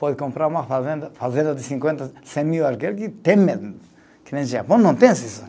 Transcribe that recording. Pode comprar uma fazenda, fazenda de cinquenta, cem mil aquele que tem mesmo, que nem o Japão não tem esse sonho.